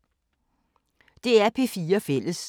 DR P4 Fælles